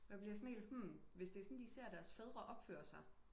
Men bliver helt sådan hmm hvis det er sådan de ser deres fædre opføre sig